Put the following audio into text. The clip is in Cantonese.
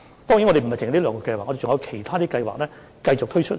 當然，不止這兩項計劃，其他計劃將會陸續推出。